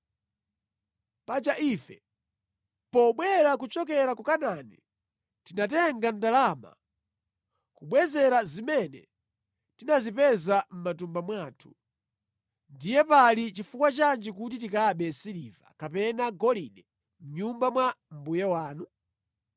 Paja ife pobwera kuchokera ku Kanaani tinatenga ndalama kubwezera zimene tinazipeza mʼmatumba mwathu. Ndiye pali chifukwa chanji kuti tikabe siliva kapena golide mʼnyumba mwa mbuye wanu?